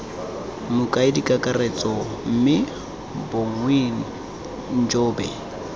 mokaedi kakaretso mme bongiwe njobe